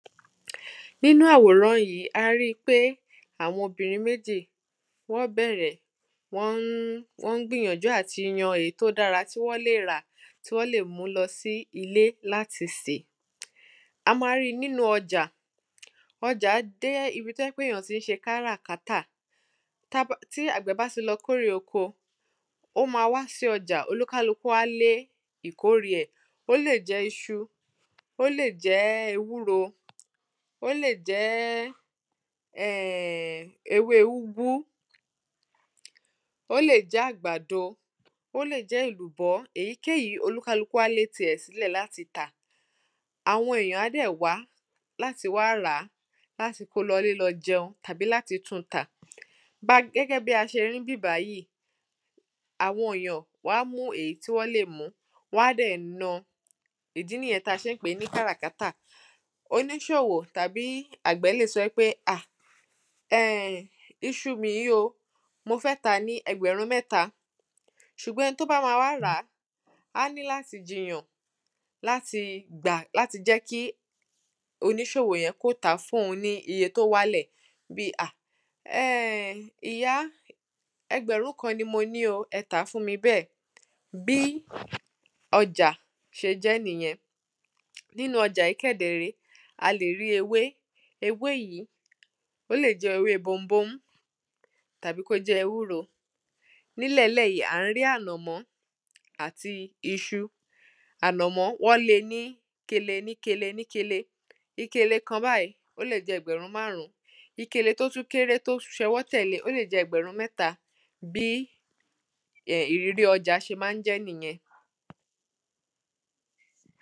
Nínú àwòrán yí, a ri i pé àwọn obìnrin méjì, wọ́n bẹ̀rẹ̀, wọ́n ń wọ́n ń gbìyànjú àti yan èyí tó dára tí wọ́n lè rà, tí wọ́n lè mú lọ sí ilé láti sè. A ma ri nínu ọjà, ọjà jẹ́ ibi tó jẹ́ pé èyán tí ń ṣe káràkátà, tí àgbẹ̀ bá ti lọ kórè oko, ó ma wá sí ọjà, oníkálukù á lé ìkórè ẹ̀. Ó lè jẹ́: iṣu, ó lè jẹ́ ewúro, ó lè jẹ́ um ewé úgwú, ó lè jẹ́ àgbàdo, ó lè jẹ́ èlùbọ́, èyíkéyìí olúkálukù á lé ti ẹ̀ sílẹ̀ láti tà. Àwọn èyàn á dẹ̀ wá láti wá rà á, láti ko lọ ilẹ́ lọ jẹun tàbí láti tún un tà. Ba gẹ́gẹ́ bí a ṣe ri ní ibibí bàyìí, àwọn èyàn, wọ́n á mú èyí tí wọ́n lè mú, wọ́n á dẹ̀ na, ìdí níyẹn tí a ṣe ń pè ní káràkàtà, oníṣòwò, tàbí àgbẹ̀ lẹ̀ sọ pé, ah, [um]ìṣù mi yí o, mo fẹ́ tàá ní ẹgbẹ̀rún mẹ́ta, ṣùgbọ́n ẹni tó bá ma wà ràá, á ní láti jiyàn, láti gbà láti jẹ́ kí oníṣòwò yẹn kó tàá fun ní iye tó wá lẹ̀, bí, ah! ehn[um] ìyá, ẹgbẹ̀rún kan ni mọ ní o, ẹ tàá fún mi bẹ́ẹ̀, bí ọjà, ṣe jẹ́ nìyẹn. Nínu ọjà yí kẹ̀ dẹ̀ ré é, a lè rí ewé, ewé yí, ò lè jẹ́ ewé bombóḿ, tàbí kó jẹ́ ewúrò. Ní ilẹ̀ẹ́lẹ̀ yí, à ń rí á ànọ̀mọ́ àti iṣu, ànọ̀mọ́ wọ́n le níkele níkele níkele, ìkèlé kan báyìí, ó lè jẹ́ ẹgbẹ̀rún màrún, ìkèlé tó tún kéré, tó tún ṣọwọ́ tẹ̀le, ó lè jẹ́ ẹgbẹ̀rún mẹ́ta, bí ìrírí ọjà ṣe má ń jẹ́ nìyẹn.